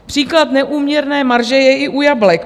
Příklad neúměrné marže je i u jablek.